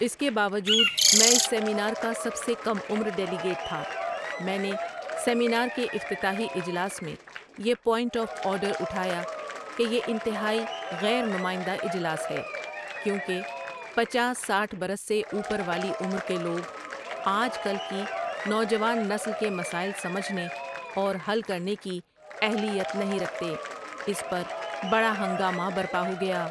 اس کے باوجود میں اس سیمینار کا سب سے کم عمر ڈیلیگیٹ تھا میں نے سیمینار کے افتتاحی اجلاس میں یہ پوائنٹ آف آرڈر اٹھایا کہ یہ انتہائی غیر نمائندہ اجلاس ہے کیونکہ پچاس ساٹھ برس سے اوپر والی عمر کے لوگ آج کل کی نوجوان نسل کے مسائل سمجھنے اور حل کرنے کی اہلیت نہیں رکھتے اس پر بڑا ہنگامہ برپا ہو گیا ۔